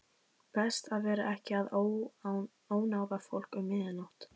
Best að vera ekki að ónáða fólk um miðja nótt.